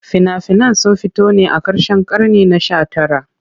Fina-finan sun fito ne a karshen karni na 19.